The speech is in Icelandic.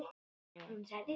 skrifar Helgi.